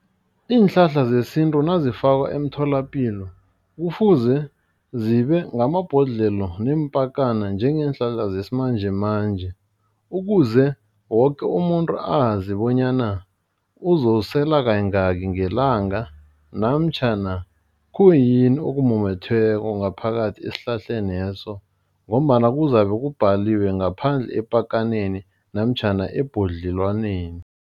Iinhlahla zesintu nazifakwa emtholapilo. Kufuze zibe ngamabhodlelo neempakana njengeenhlahla zesimanjemanje. Ukuze woke umuntu azi bonyana uzosela kayingaki ngelanga namtjhana khuyini okumumethweko ngaphakathi esihlahleneso. Ngombana kuzabe kubhaliwe ngaphandle epakaneni namtjhana ebhodlelwaneni.